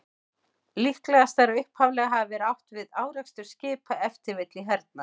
Líklegast er að upphaflega hafi verið átt við árekstur skipa, ef til vill í hernaði.